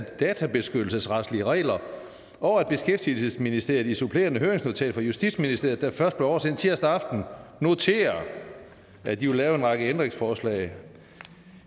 databeskyttelsesretlige regler og at beskæftigelsesministeriet i et supplerende høringsnotat fra justitsministeriet der først blev oversendt tirsdag aften noterer at de vil lave en række ændringsforslag